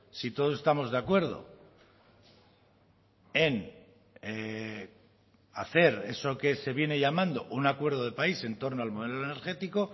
si todos estamos de acuerdo en hacer eso que se viene llamando un acuerdo de país en torno al modelo energético